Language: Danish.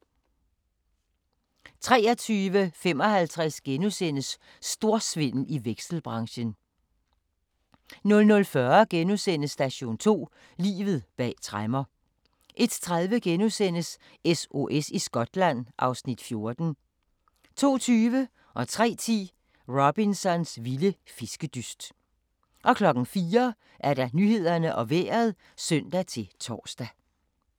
23:55: Storsvindel i vekselbranchen * 00:40: Station 2: Livet bag tremmer * 01:30: SOS i Skotland (Afs. 14)* 02:20: Robsons vilde fiskedyst 03:10: Robsons vilde fiskedyst 04:00: Nyhederne og Vejret (søn-tor)